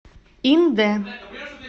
индэ